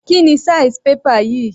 Kíni size paper yìí?